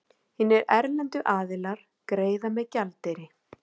Hinir erlendu aðilar greiða með gjaldeyri.